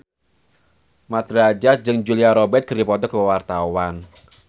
Mat Drajat jeung Julia Robert keur dipoto ku wartawan